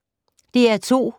DR2